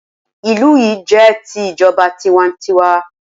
Ìlú yi jẹ́ ti ìjọba tiwa n tiwa